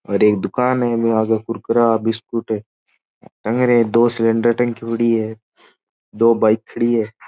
और एक दुकान है इनमे आगे कुरकुरा बिस्कुट है टंग रहा है दो सिलिंडर टंकी पड़ी है दो बाइक खड़ी है।